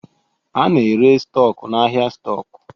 A na-ere stọku n'ahịa stọkụ.